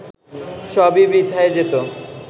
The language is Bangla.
সবই বৃথায় যেত